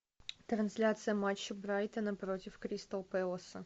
трансляция матча брайтона против кристал пэласа